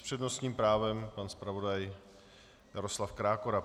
S přednostním právem pan zpravodaj Jaroslav Krákora.